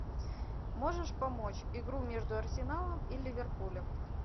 можешь помочь игру между арсеналом и ливерпулем